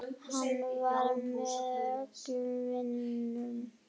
Hann var mér hollur vinur.